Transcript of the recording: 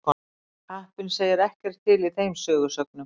Kappinn segir ekkert til í þeim sögusögnum.